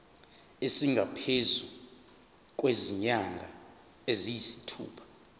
esingaphezu kwezinyanga eziyisithupha